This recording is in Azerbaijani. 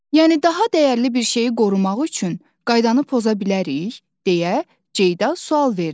Yəni daha dəyərli bir şeyi qorumaq üçün qaydanı poza bilərik, deyə Ceyda sual verdi.